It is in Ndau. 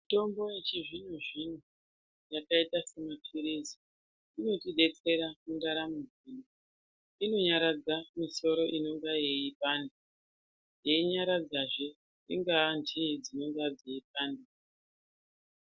Mitombo yechizvino zvino yakaita semapirisi, inotidetsera muntaramo dzedu. Inonyaradza misoro inenge eyibanda, eyinyaradza zve ingavenji dzinorwadza dzeyibanda.